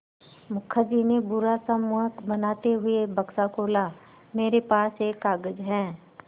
मुखर्जी ने बुरा सा मुँह बनाते हुए बक्सा खोला मेरे पास एक कागज़ है